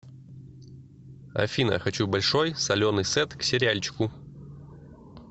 афина хочу большой соленый сет к сериальчику